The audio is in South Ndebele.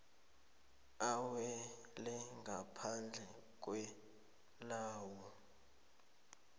awela ngaphandle kwelawulo